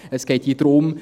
Es geht hier darum: